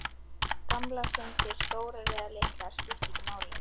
Gamlar syndir, stórar eða litlar, skipta ekki máli.